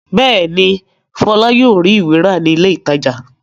Bẹ́ẹ̀ ni, Fọlá yóò rí ìwé rà ní ilé-ìtajà.